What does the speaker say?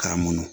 K'a munu